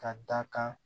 Ka da kan